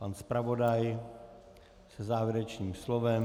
Pan zpravodaj se závěrečným slovem.